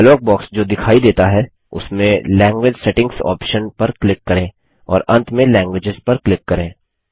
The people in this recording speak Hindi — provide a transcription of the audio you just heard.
डायलॉग बॉक्स जो दिखाई देता है उसमें लैंग्वेज सेटिंग्स ऑप्शन पर क्लिक करें और अंत में लैंग्वेज पर क्लिक करें